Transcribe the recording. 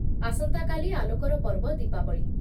ଆସନ୍ତାକାଲି ଆଲୋକର ପର୍ବ ଦୀପାବଳି ।